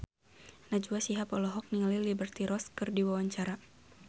Najwa Shihab olohok ningali Liberty Ross keur diwawancara